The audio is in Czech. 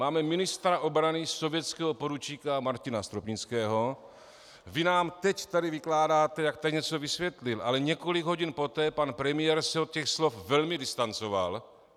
Máme ministra obrany sovětského poručíka Martina Stropnického, vy nám teď tady vykládáte, jak tady něco vysvětlil, ale několik hodin poté pan premiér se od těch slov velmi distancoval.